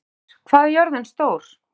Hallur, hvað er jörðin stór?